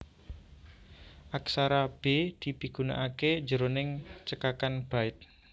Aksara B dipigunakaké jroning cekakan byte